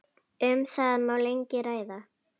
Um það má lengi ræða.